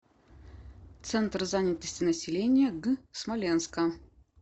центр занятости населения г смоленска